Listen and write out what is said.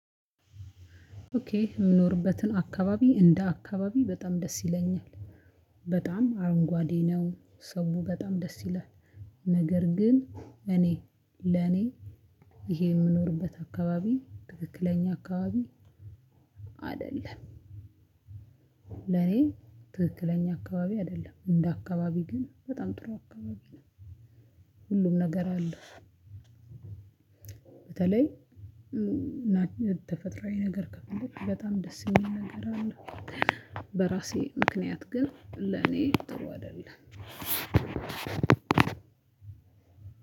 ኦኬ የምኖርበትን አካባቢ እንደ አካባቢ በጣም ደስ ይለኛል በጣም አረንጓዴ ነው። ሰው በጣም ደስ ይላል። ነገር ግን እኔ ለኔ ይሄ የምኖርበት አካባቢ ትክክለኛ አካባቢ አይደለም። ለኔ ትክክለኛ አካባቢ አይደለም እንደ አካባቢ ግን በጣም ጥሩ አካባቢ ነው። ሁሉም ነገር አለ። በተለይ ተፈጥሮአዊ ነገር ከፍለክ በጣም ደስ የሚል ነገር አለው። በራሴ ምክንያት ግን ለኔ ጥሩ አይደለም።